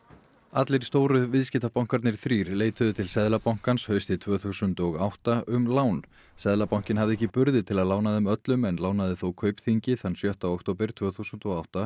allir stóru viðskiptabankarnir þrír leituðu til Seðlabankans haustið tvö þúsund og átta um lán seðlabankinn hafði ekki burði til að lána þeim öllum en lánaði þó Kaupþingi þann sjötta október tvö þúsund og átta